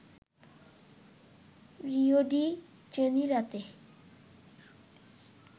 Rio de জেনিরোতে